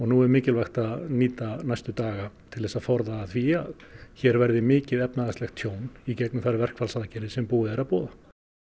nú er mikilvægt að nýta næstu daga til að forða því að hér verði mikið efnahagslegt tjón í gegnum þær verkfallsaðgerðir sem búið er að boða